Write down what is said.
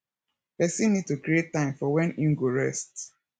person need to create time for when im go rest